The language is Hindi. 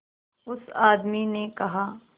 उस आदमी ने कहा